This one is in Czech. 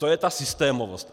To je ta systémovost.